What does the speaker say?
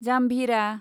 जाम्भिरा